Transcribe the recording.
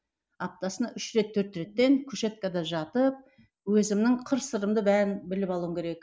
аптасына үш рет төрт реттен кушеткада жатып өзімнің қыр сырымды бәрін біліп алуым керек